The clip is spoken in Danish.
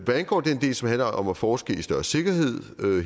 hvad angår den del som handler om at forske i større sikkerhed